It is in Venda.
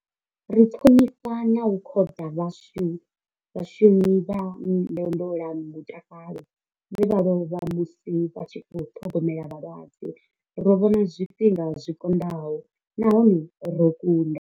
Ri ṱhonifha na u khoḓa vhashumi vha ndondolamutakalo vhe vha lovha musi vha tshi khou ṱhogomela vhalwadze. Ro vhona zwifhinga zwi konḓaho nahone ro kunda.